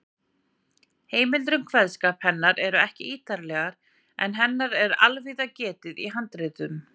Heimildir um kveðskap hennar eru ekki ítarlegar, en hennar er allvíða getið í handritum.